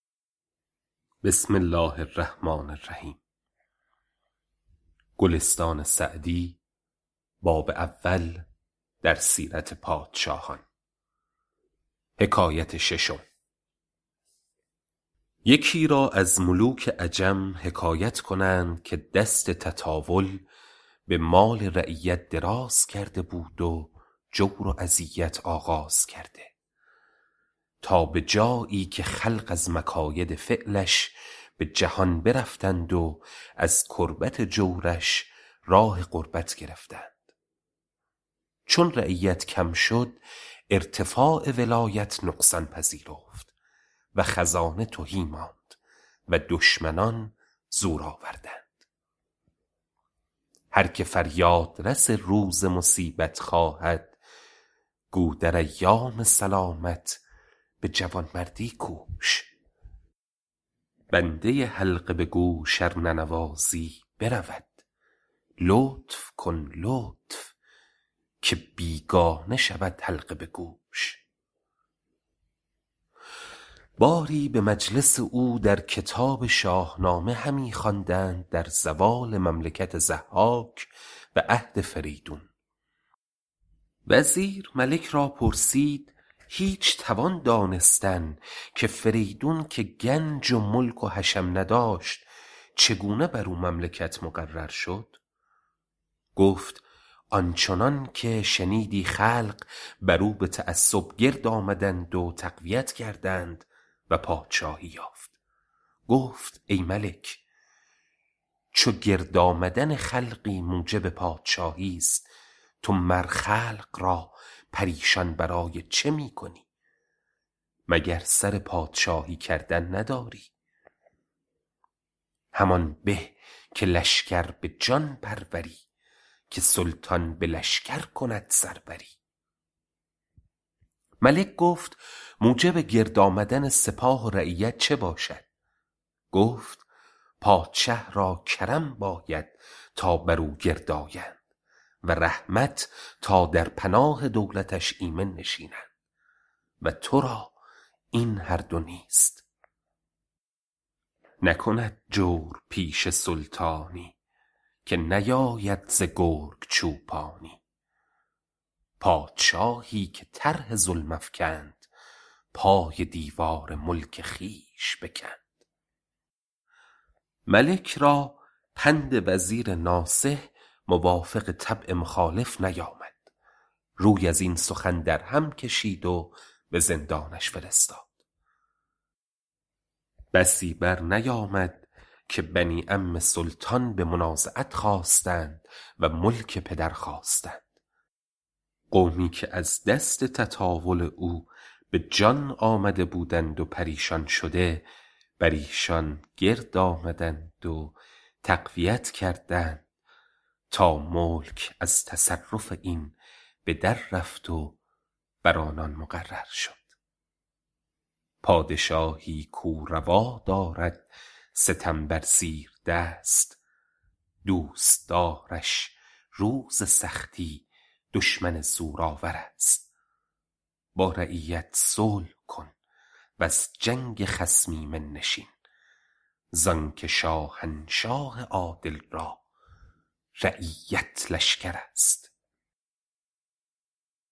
یکی را از ملوک عجم حکایت کنند که دست تطاول به مال رعیت دراز کرده بود و جور و اذیت آغاز کرده تا به جایی که خلق از مکاید فعلش به جهان برفتند و از کربت جورش راه غربت گرفتند چون رعیت کم شد ارتفاع ولایت نقصان پذیرفت و خزانه تهی ماند و دشمنان زور آوردند هر که فریاد رس روز مصیبت خواهد گو در ایام سلامت به جوانمردی کوش بنده حلقه به گوش ار ننوازی برود لطف کن لطف که بیگانه شود حلقه به گوش باری به مجلس او در کتاب شاهنامه همی خواندند در زوال مملکت ضحاک و عهد فریدون وزیر ملک را پرسید هیچ توان دانستن که فریدون که گنج و ملک و حشم نداشت چگونه بر او مملکت مقرر شد گفت آن چنان که شنیدی خلقی بر او به تعصب گرد آمدند و تقویت کردند و پادشاهی یافت گفت ای ملک چو گرد آمدن خلقی موجب پادشاهیست تو مر خلق را پریشان برای چه می کنی مگر سر پادشاهی کردن نداری همان به که لشکر به جان پروری که سلطان به لشکر کند سروری ملک گفت موجب گرد آمدن سپاه و رعیت چه باشد گفت پادشه را کرم باید تا بر او گرد آیند و رحمت تا در پناه دولتش ایمن نشینند و ترا این هر دو نیست نکند جورپیشه سلطانی که نیاید ز گرگ چوپانی پادشاهی که طرح ظلم افکند پای دیوار ملک خویش بکند ملک را پند وزیر ناصح موافق طبع مخالف نیامد روی از این سخن در هم کشید و به زندانش فرستاد بسی بر نیامد که بنی عم سلطان به منازعت خاستند و ملک پدر خواستند قومی که از دست تطاول او به جان آمده بودند و پریشان شده بر ایشان گرد آمدند و تقویت کردند تا ملک از تصرف این به در رفت و بر آنان مقرر شد پادشاهی کاو روا دارد ستم بر زیردست دوستدارش روز سختی دشمن زورآورست با رعیت صلح کن وز جنگ خصم ایمن نشین زان که شاهنشاه عادل را رعیت لشکرست